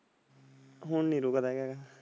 ਹੁਣ ਨੀ ਰੁਕਦਾ ਹੈਗਾ।